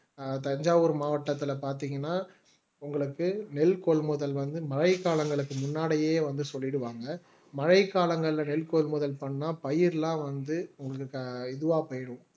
தஞ்சாவூர் மாவட்டத்தில பார்த்தீங்கன்னா உங்களுக்கு நெல் கொள்முதல் வந்து மழைக்காலங்களுக்கு முன்னாடியே வந்து சொல்லிடுவாங்க மழைக்காலங்கள்ல நெல் கொள்முதல் பண்ணா பயிர்லாம் வந்து உங்களுக்கு இதுவா போயிரும்